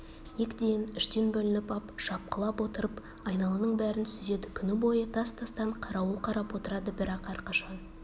екіден-үштен бөлініп ап шапқылап отырып айналаның бәрін сүзеді күні бойы тас-тастан қарауыл қарап отырады бірақ әрқашан